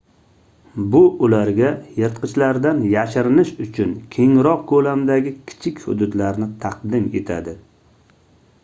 bu ularga yirtqichlardan yashinirish uchun kengroq koʻlamdagi kichik hududlarni taqdim etadi